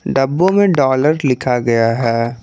डब्बों में डॉलर लिखा गया है।